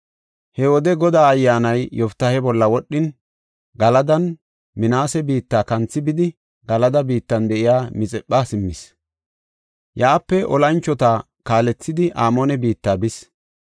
He wode Godaa Ayyaanay Yoftaahe bolla wodhin, Galadanne Minaase biitta kanthi bidi, Galada biittan de7iya Mixipha simmis. Yaape olanchota kaalethidi Amoone biitta bis.